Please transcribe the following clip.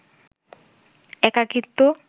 একাকিত্ব